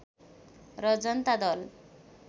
र जनता दल